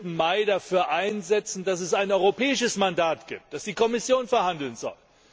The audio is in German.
15. Mai dafür einsetzen, dass es ein europäisches Mandat gibt, dass die Kommission verhandeln soll.